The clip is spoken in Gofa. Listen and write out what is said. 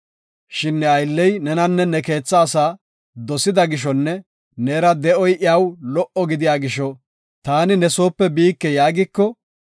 Shin ne aylley nenanne ne keetha asaa dosida gishonne neera de7oy iyaw lo77o gidiya gisho, “Taani ne soope biike” yaagiko,